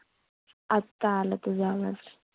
आता आला तुझा आवाज.